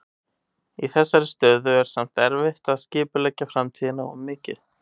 Í þessari aðstöðu er samt erfitt að skipuleggja framtíðina of mikið.